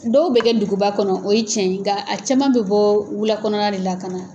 Dɔw bɛ kɛ duguba kɔnɔ o ye tiɲɛ ye, nka a cɛman bɛ bɔ wula de la ka na.